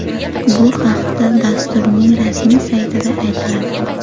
Bu haqda dasturning rasmiy saytida aytiladi .